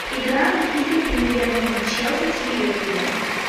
игра английской премьер лиги челси с ливерпулем